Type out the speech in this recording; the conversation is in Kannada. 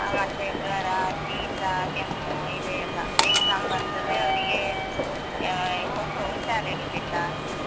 ಮತ್ತೆ ಜ್ವರ, ಶೀತ, ಕೆಮ್ಮು ಇದೆ ಎಲ್ಲಾ exam ಬರ್ತದೆ ಅವ್ರಿಗೆ ಅಹ್ ಯಾವಾಗಸ ಉಷಾರಿರುದಿಲ್ಲ.